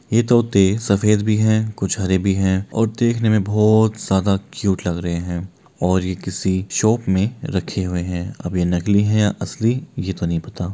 ये तोते सफ़ेद भी है कुछ हरे भी है और देखने में बहुत ज्यादा क्युट लग रहे है और ये किसी शॉप में रखे हुए है अब ये नकली है या असली ये तो नहीं पता।